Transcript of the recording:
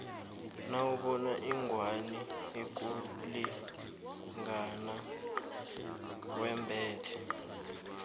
nawubona ingwani ikulingana yembhathe